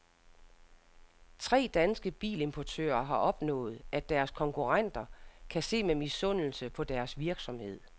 Tre danske bilimportører har opnået, at deres konkurrenter kan se med misundelse på deres virksomhed.